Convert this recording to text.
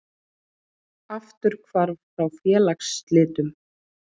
Afturhvarf frá félagsslitum